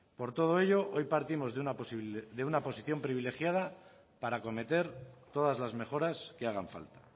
por todo ello hoy partimos de una posición privilegiada para acometer todas las mejoras que hagan falta